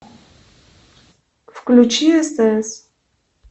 включи стс